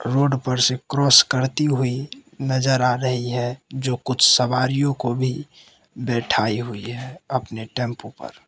Road पर से cross करती हुई नजर आ रही है जो कुछ सवारियों को भी बैठाई हुई है अपने टेंपो पर।